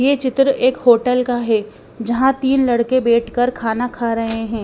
ये चित्र एक होटल का है जहाँ तीन लड़के बैठकर खाना खा रहे हैं।